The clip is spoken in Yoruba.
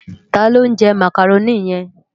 Tá ló njè Mákároni yèn?